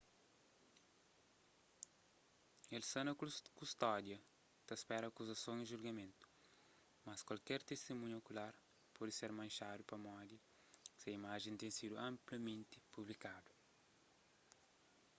el sta na kustódia ta spera akuzason y julgamentu mas kuaker tistimunha okular pode ser manxadu pamodi se imajen ten sidu anplamenti publikadu